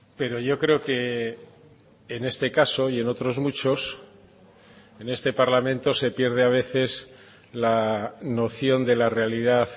pero yo creo que en este caso y en otros muchos en este parlamento se pierde a veces la noción de la realidad